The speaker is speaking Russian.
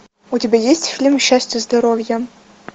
у тебя есть фильм счастья здоровья